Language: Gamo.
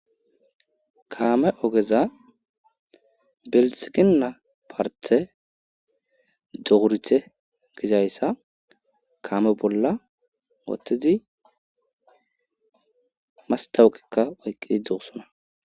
kaame ogeza belsikina parte dorite gizayssa kaame bolla wottedi mastawuqikka oyqqidi dosona